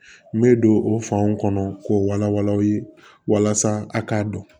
N bɛ don o fanw kɔnɔ k'o wala wala aw ye walasa a k'a dɔn